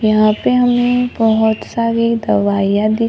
यहां पे हमें बहोत सारी दवाइया दिख--